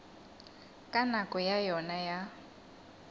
ka nako ya yona ya